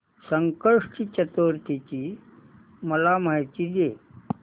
संकष्टी चतुर्थी ची मला माहिती दे